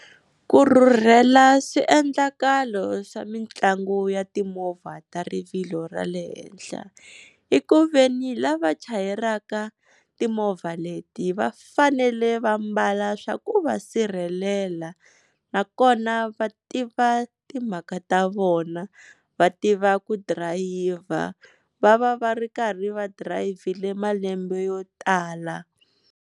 Ku rhurhela swiendlakalo swa mitlangu ya timovha ta rivilo ra le henhla, i ku veni lava chayelaka timovha leti va fanele va mbala swa ku va sirhelela, nakona va tiva timhaka ta vona va tiva ku dirayivha va va va ri karhi va dirayivhile malembe yo tala.